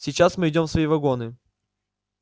сейчас мы идём в свои вагоны